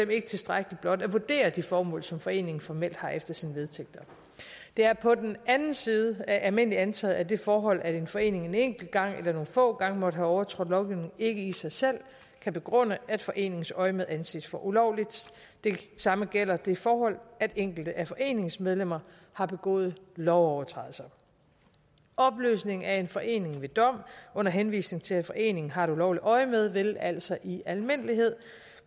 ikke tilstrækkeligt blot at vurdere det formål som foreningen formelt har efter sine vedtægter det er på den anden side almindeligt antaget at det forhold at en forening en enkelt gang eller nogle få gange måtte have overtrådt lovgivningen ikke i sig selv kan begrunde at foreningens øjemed anses for ulovligt det samme gælder det forhold at enkelte af foreningens medlemmer har begået lovovertrædelser opløsningen af en forening ved dom under henvisning til at foreningen har et ulovligt øjemed vil altså i almindelighed